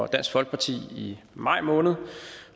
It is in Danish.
dansk folkeparti i maj måned